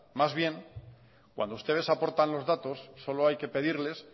más bien cuando ustedes aportan los datos solo hay que pedirles